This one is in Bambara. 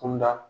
Kunda